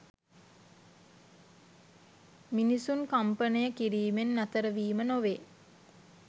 මිනිසුන් කම්පනය කිරීමෙන් නතරවීම නොවේ.